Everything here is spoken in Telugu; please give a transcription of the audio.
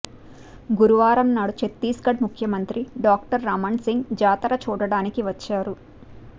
గురువారం నాడు ఛత్తీస్గఢ్ ముఖ్యమంత్రి డాక్టర్ రమన్ సింగ్ జాతర చూడడానికి వచ్చారు